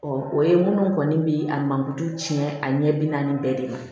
o ye minnu kɔni bɛ a mankutu tiɲɛ a ɲɛ bi naani bɛɛ de ma